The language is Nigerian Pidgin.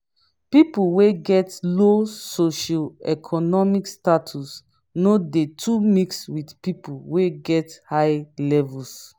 pipo wey get low socio-economic status no de too mix with pipo wey get high levels